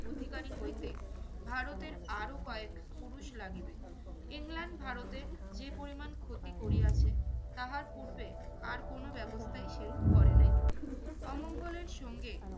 অধিকারী হইতে ভারতের আরো কয়েক পুরুষ লাগিবে। ইংল্যান্ড ভারতের যে পরিমাণ ক্ষতি করিয়াছে তাহার পূর্বে আর কোনো ব্যবস্থাই সেরূপ করে নাই। অমঙ্গলের সঙ্গে